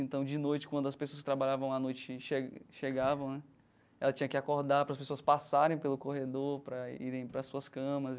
Então, de noite, quando as pessoas que trabalhavam à noite chega chegavam né, ela tinha que acordar para as pessoas passarem pelo corredor, para irem para as suas camas.